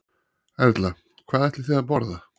Erla: Hvað ætlið þið að borða?